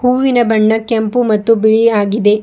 ಹೂವಿನ ಬಣ್ಣ ಕೆಂಪು ಮತ್ತು ಬಿಳಿ ಆಗಿದೆ.